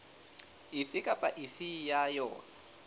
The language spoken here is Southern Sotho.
efe kapa efe ya yona